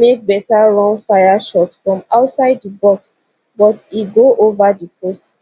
make beta run fire shot from outside di box but e go over di post